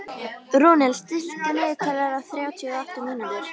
Rúnel, stilltu niðurteljara á þrjátíu og átta mínútur.